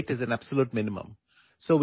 കുറഞ്ഞത് ഏഴോ എട്ടോ മണിക്കൂറെങ്കിലും ഉറങ്ങണം